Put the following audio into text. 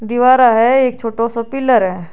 दीवारा है एक छोटो सो पिलर है।